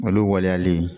Olu waleyalen